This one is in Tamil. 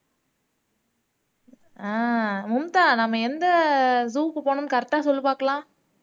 ஆஹ் மும்தா நாம எந்த zoo க்கு போகணும்னு correct ஆ சொல்லு பார்க்கலாம்